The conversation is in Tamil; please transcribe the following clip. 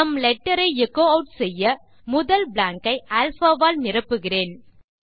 நம் லெட்டர் ஐ எச்சோ ஆட் செய்ய முதல் பிளாங்க் ஐ அல்பா ஆல் நிரப்புகிறேன்